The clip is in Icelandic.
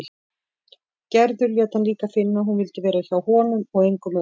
Gerður lét hann líka finna að hún vildi vera hjá honum og engum öðrum.